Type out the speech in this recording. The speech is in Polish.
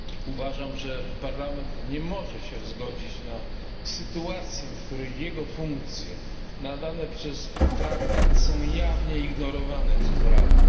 Uważam, że Parlament nie może się zgodzić na sytuację, w której jego funkcje nadane przez Traktat są jawnie ignorowane przez Radę.